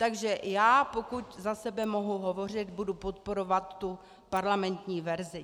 Takže já, pokud za sebe mohu hovořit, budu podporovat tu parlamentní verzi.